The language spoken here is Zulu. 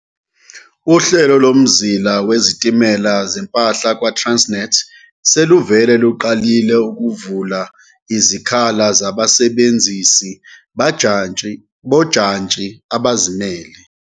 Uhlelo Lomzila Wezitimela Zempahla kwa-Transnet seluvele luqalile ukuvula izikhala zabasebenzisi bajantshi bojantshi abazimele.